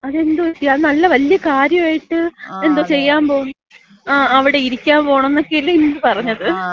അതെന്ത് പറ്റി? അത് നല്ല കാര്യായിട്ട് എന്തോ ചെയ്യാൻ പോകും. അവിടെ ഇരിക്കാമ്പോണന്നക്കയല്ലെ അന്ന് പറഞ്ഞത്.